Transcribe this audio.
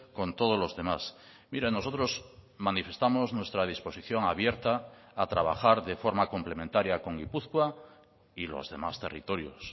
con todos los demás mire nosotros manifestamos nuestra disposición abierta a trabajar de forma complementaria con gipuzkoa y los demás territorios